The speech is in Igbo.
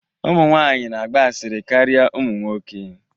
Ụmụ nwanyị na-agba asịrị karịa ụmụ nwoke